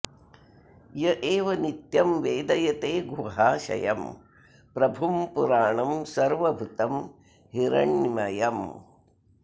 य एवं नित्यं वेदयते गुहाशयं प्रभुं पुराणं सर्वभूतं हिरण्मयम्